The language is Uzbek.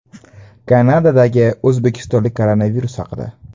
Kanadadagi o‘zbekistonlik koronavirus haqida.